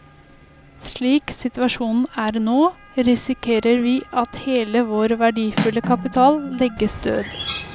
Slik situasjonen er nå, risikerer vi at hele vår verdifulle kapital legges død.